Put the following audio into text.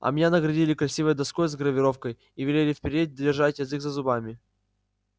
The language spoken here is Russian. а меня наградили красивой доской с гравировкой и велели впредь держать язык за зубами